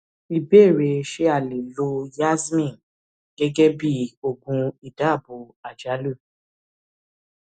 ìbéèrè ṣé a lè lo yasmin gẹgẹ bí oògùn ìdabò àjálù